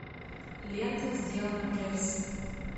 лента сделано в джерси